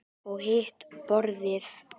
Og hitt borðið?